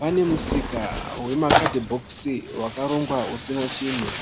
pane musika wemakadhibhokisi wakarongwa usina chinhu.